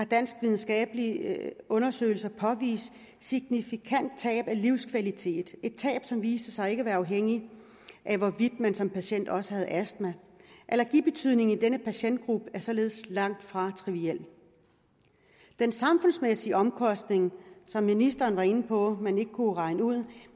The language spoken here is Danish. dansk videnskabelig undersøgelse påvist et signifikant tab af livskvalitet et tab som viste sig ikke at være afhængigt af hvorvidt man som patient også havde astma allergibetydningen i denne patientgruppe er således langt fra triviel den samfundsmæssige omkostning var ministeren inde på man ikke kunne regne ud